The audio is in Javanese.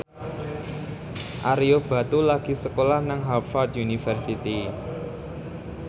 Ario Batu lagi sekolah nang Harvard university